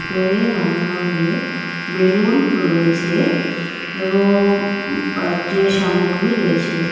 ভিতরে নানা রঙ্গের বেলুন রয়েছে এবং বার্থ ডে সামগ্রী রয়েছে.